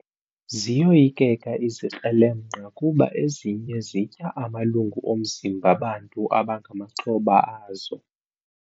Ziyoyikeka izikrelemnqa kuba ezinye zitya amalungu omzimba bantu abangamaxhoba azo.